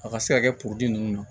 A ka se ka kɛ ninnu na